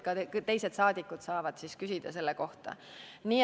Ka teised saadikud saavad siis selle kohta küsida.